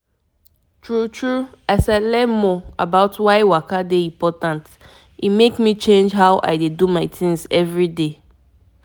small small things like to dey notice the importance of actually walking fit help your body and mind well well.